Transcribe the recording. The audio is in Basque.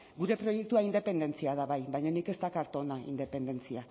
gure proiektua independentzia da bai baina nik ez dakart hona independentzia